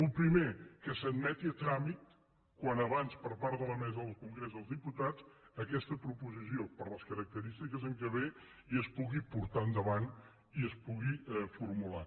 el primer que s’admeti a tràmit al més aviat possible per part de la mesa del congrés dels diputats aquesta proposició per les característiques amb què ve i es pugui portar endavant i es pugui formular